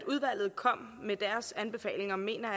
udvalget kom med deres anbefalinger mener